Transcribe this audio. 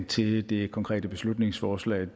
til det konkrete beslutningsforslag